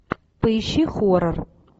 поищи хорор